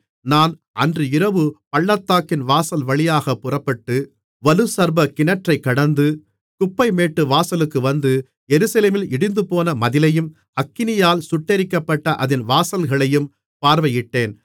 நான் அன்று இரவு பள்ளத்தாக்கின் வாசல் வழியாகப் புறப்பட்டு வலுசர்ப்பக் கிணற்றைக் கடந்து குப்பைமேட்டு வாசலுக்கு வந்து எருசலேமில் இடிந்துபோன மதிலையும் அக்கினியால் சுட்டெரிக்கப்பட்ட அதின் வாசல்களையும் பார்வையிட்டேன்